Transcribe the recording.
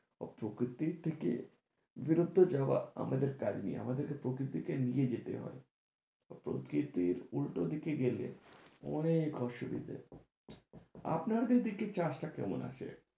ও প্রকৃতির থেকে বেরোতে যাওয়া আমাদের কাজ নয়, আমাদেরকে প্রকৃতিকে নিয়ে যেতে হয় প্রকৃতির উল্টো দিকে গেলে অনেক অসুবিধা আপনার দিকে চাষটা কেমন আছে?